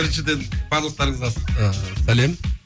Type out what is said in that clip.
біріншіден барлықтарыңызға ыыы сәлем